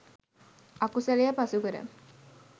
අකුසලය පසුකර